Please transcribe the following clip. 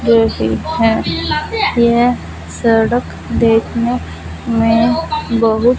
बैठे है ये हैं यह सड़क देखने मे बहुत--